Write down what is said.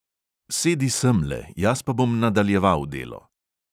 Sedi semle, jaz pa bom nadaljeval delo!